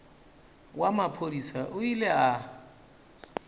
wa maphodisa o ile a